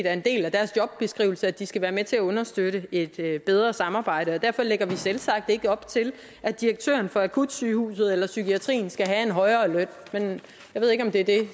er en del af deres jobbeskrivelse at de skal være med til at understøtte et bedre samarbejde og derfor lægger vi selvsagt ikke op til at direktøren for akutsygehuset eller for psykiatrien skal have en højere løn jeg ved ikke om det er det